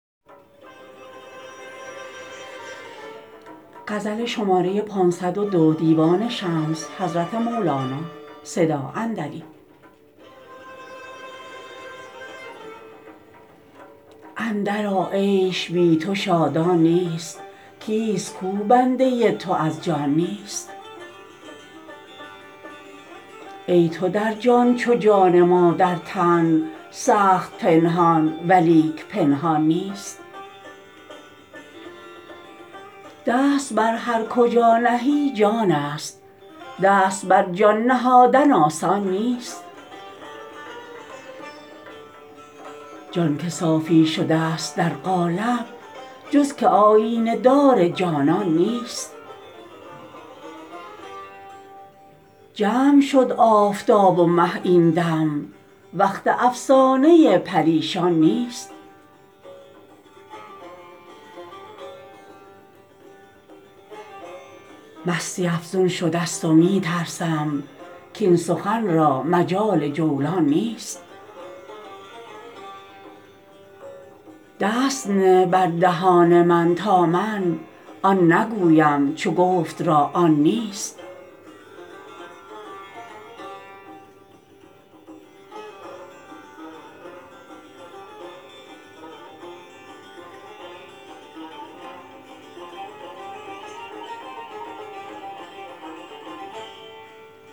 اندرآ عیش بی تو شادان نیست کیست کو بنده تو از جان نیست ای تو در جان چو جان ما در تن سخت پنهان ولیک پنهان نیست دست بر هر کجا نهی جانست دست بر جان نهادن آسان نیست جان که صافی شدست در قالب جز که آیینه دار جانان نیست جمع شد آفتاب و مه این دم وقت افسانه پریشان نیست مستی افزون شدست و می ترسم کاین سخن را مجال جولان نیست دست نه بر دهان من تا من آن نگویم چو گفت را آن نیست